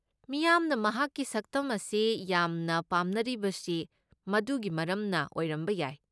ꯃꯤꯌꯥꯝꯅ ꯃꯍꯥꯛꯀꯤ ꯁꯛꯇꯝ ꯑꯁꯤ ꯌꯥꯝꯅ ꯄꯥꯝꯅꯔꯤꯕꯁꯤ ꯃꯗꯨꯒꯤ ꯃꯔꯝꯅ ꯑꯣꯏꯔꯝꯕ ꯌꯥꯏ꯫